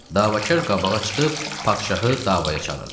Davakar qabağa çıxıb padşahı davaya çağırdı.